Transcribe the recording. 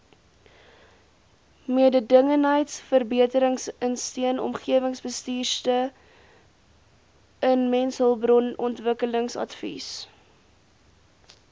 mededingendheidsverbeteringsteun omgewingsbestuursteun mensehulpbronontwikkelingsadvies